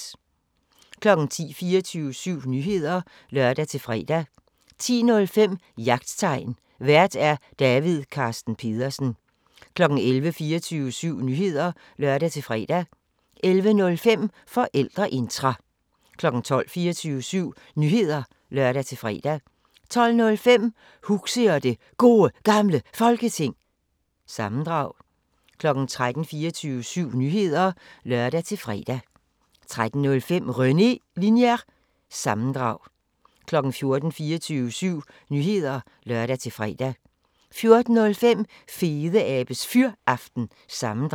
10:00: 24syv Nyheder (lør-fre) 10:05: Jagttegn Vært: David Carsten Pedersen 11:00: 24syv Nyheder (lør-fre) 11:05: Forældreintra 12:00: 24syv Nyheder (lør-fre) 12:05: Huxi og det Gode Gamle Folketing – sammendrag 13:00: 24syv Nyheder (lør-fre) 13:05: René Linjer- sammendrag 14:00: 24syv Nyheder (lør-fre) 14:05: Fedeabes Fyraften – sammendrag